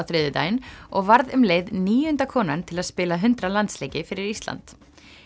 þriðjudaginn og varð um leið níunda konan til að spila hundrað landsleiki fyrir Ísland